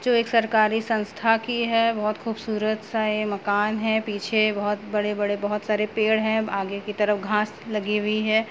जो एक सरकारी संस्था की है बहुत खूबसूरत सा मकान है पीछे बहुत बड़े-बड़े बहुत सारे पेड़ हैं आगे की तरफ घांस लगी हुई है।